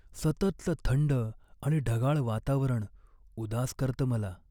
सततचं थंड आणि ढगाळ वातावरण उदास करतं मला.